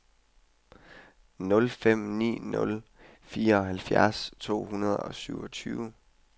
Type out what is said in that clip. nul fem ni nul fireoghalvfjerds to hundrede og syvogtyve